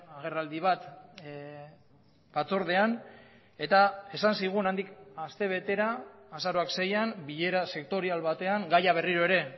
agerraldi bat batzordean eta esan zigun handik aste betera azaroak seian bilera sektorial batean gaia berriro ere